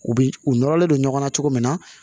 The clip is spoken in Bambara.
U bi u nɔrɔlen don ɲɔgɔn na cogo min na